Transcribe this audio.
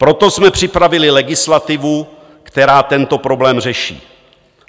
Proto jsme připravili legislativu, která tento problém řeší.